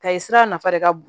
Ta ye sira nafa de ka bon